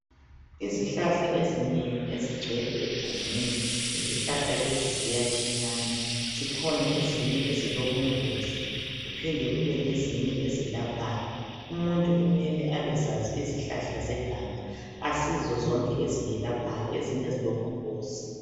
Izihlahla ezinengi ezigcwele egangeni izihlahla lezi ziyatshiyana zikhona ezinye ezilobungozi kuphinde kube lezinye ezilaphayo umuntu kumele abezazi izihlahla zeganga asizo zonke eziyelaphayo ezinye zilobungozi.